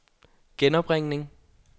genopringning